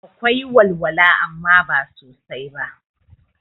Akwai walwala amma ba sosai ba